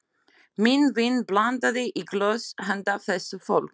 Minn vin blandaði í glös handa þessu fólki.